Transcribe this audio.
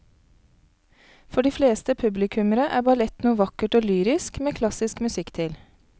For de fleste publikummere er ballett noe vakkert og lyrisk med klassisk musikk til.